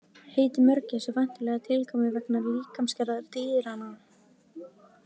Heitið mörgæs er væntanlega tilkomið vegna líkamsgerðar dýranna.